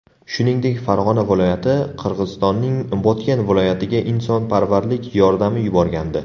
Shuningdek, Farg‘ona viloyati Qirg‘izistonning Botken viloyatiga insonparvarlik yordami yuborgandi .